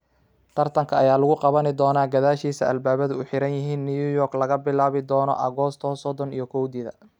Tartanka ayaa lagu qaban doonaa gadaashiisa albaabadu u xiran yihiin New York laga bilaabo dono Agoosto sodon iyo kowdeda.